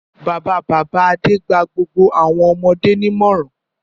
Bàbá-bàbá Adé gba gbogbo àwọn ọmọdé nímọ̀ràn.